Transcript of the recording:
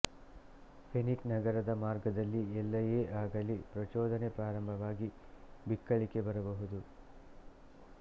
phrenic ನರದ ಮಾರ್ಗದಲ್ಲಿ ಎಲ್ಲಯೇ ಆಗಲಿ ಪ್ರಚೋದನೆ ಪ್ರಾರಂಭವಾಗಿ ಬಿಕ್ಕಳಿಕೆ ಬರಬಹುದು